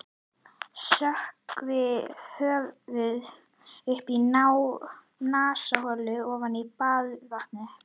Sökkvi höfðinu upp að nasaholum ofan í baðvatnið.